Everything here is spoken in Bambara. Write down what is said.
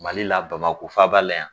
Mali la Bamakɔ faaba la yan